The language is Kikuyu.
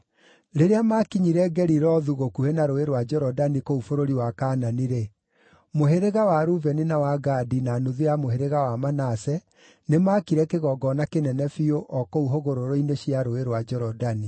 Rĩrĩa maakinyire Gelilothu gũkuhĩ na Rũũĩ rwa Jorodani kũu bũrũri wa Kaanani-rĩ, mũhĩrĩga wa Rubeni, na wa Gadi, na nuthu ya mũhĩrĩga wa Manase nĩmakire kĩgongona kĩnene biũ o kũu hũgũrũrũ-inĩ cia Rũũĩ rwa Jorodani.